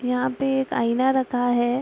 यहाँ पे एक आईना रखा है।